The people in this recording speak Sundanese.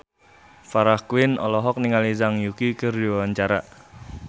Farah Quinn olohok ningali Zhang Yuqi keur diwawancara